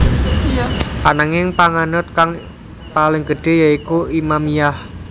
Ananging panganut kang paling gedhé ya iku Imamiyah